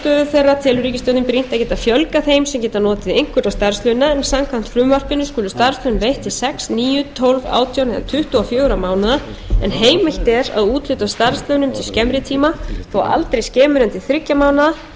sem geta notið einhverra starfslauna en samkvæmt frumvarpinu skulu starfslaun veitt til sex níu tólf átján eða tuttugu og fjögur á mánaða en heimilt er að úthluta starfslaunum til skemmri tíma þó aldrei skemur en til þriggja ja mánaða